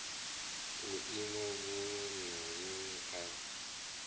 vhuimo vhuṅwe na vhuṅwe a